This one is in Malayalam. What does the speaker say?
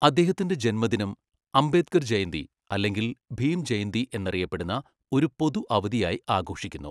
അദ്ദേഹത്തിന്റെ ജന്മദിനം അംബേദ്കർ ജയന്തി അല്ലെങ്കിൽ ഭീം ജയന്തി എന്നറിയപ്പെടുന്ന ഒരു പൊതു അവധിയായി ആഘോഷിക്കുന്നു.